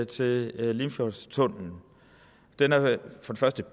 til limfjordstunnellen den er